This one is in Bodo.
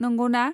नंगौना?